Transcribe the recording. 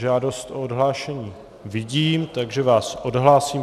Žádost o odhlášení vidím, takže vás odhlásím.